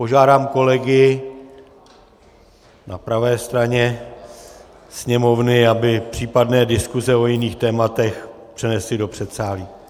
Požádám kolegy na pravé straně Sněmovny, aby případné diskuze o jiných tématech přenesli do předsálí.